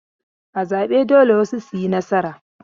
A zabe dole wasu su yi nasara.